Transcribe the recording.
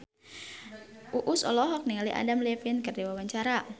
Uus olohok ningali Adam Levine keur diwawancara